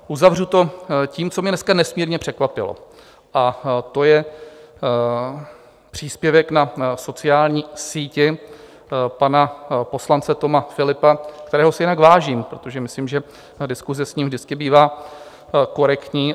Uzavřu to tím, co mě dneska nesmírně překvapilo, a to je příspěvek na sociální síti pana poslance Toma Philippa, kterého si jinak vážím, protože myslím, že diskuse s ním vždycky bývá korektní.